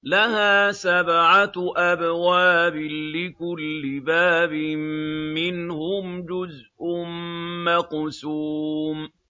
لَهَا سَبْعَةُ أَبْوَابٍ لِّكُلِّ بَابٍ مِّنْهُمْ جُزْءٌ مَّقْسُومٌ